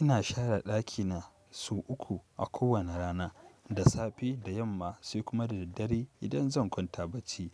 Ina share ɗakina sau uku a kowane rana, da safe, da yamma sai kuma da daddare idan zan kwanta bacci